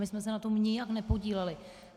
My jsme se na tom nijak nepodíleli.